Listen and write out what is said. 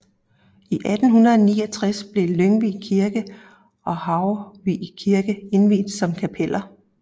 I 1869 blev Lyngvig Kirke og Haurvig Kirke indviet som kapeller